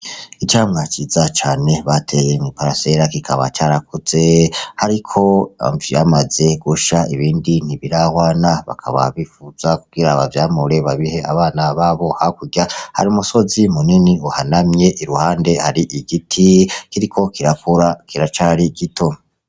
Icamwa ciza cane bateye mw'iparasera kikaba carakuze hariko ivyamaze gusha ibindi ntibirahwana bakaba bifuza kugira abavyamure babihe abana babo hakurya hari umusozi munini uhanamye iruhande hari igiti kiriko kirakura kiracari gito.